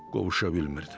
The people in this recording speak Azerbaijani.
qovuşa bilmirdi.